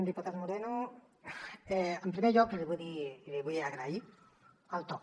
diputat moreno en primer lloc l’hi vull dir i li vull agrair el to